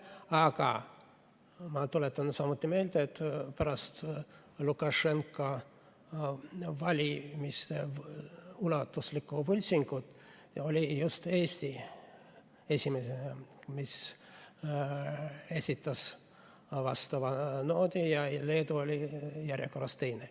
Aga ma tuletan samuti meelde, et pärast Lukašenka valimise ulatuslikku võltsingut oli just Eesti esimene, kes esitas vastava noodi, ja Leedu oli järjekorras teine.